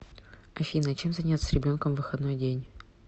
афина чем заняться с ребенком в выходной день